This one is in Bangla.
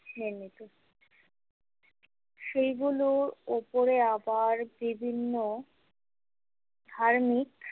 নির্মিত সেইগুলোর ওপরে আবার বিভিন্ন ধার্মিক।